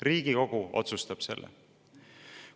Riigikogu otsustab selle!